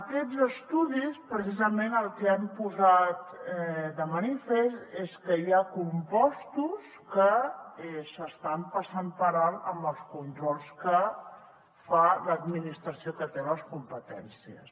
aquests estudis precisament el que han posat de manifest és que hi ha compostos que s’estan passant per alt en els controls que fa l’administració que en té les competències